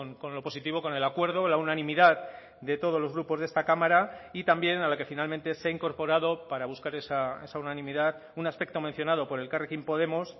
con lo positivo con el acuerdo la unanimidad de todos los grupos de esta cámara y también a la que finalmente se ha incorporado para buscar esa unanimidad un aspecto mencionado por elkarrekin podemos